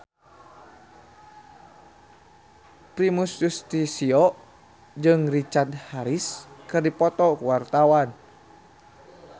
Primus Yustisio jeung Richard Harris keur dipoto ku wartawan